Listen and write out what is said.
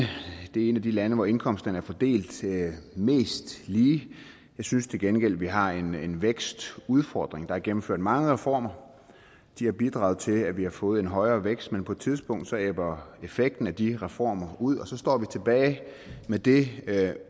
det er et af de lande hvor indkomsterne er fordelt mest lige jeg synes til gengæld vi har en en vækstudfordring der er gennemført mange reformer de har bidraget til at vi har fået en højere vækst men på et tidspunkt ebber effekten af de reformer ud og så står vi tilbage med det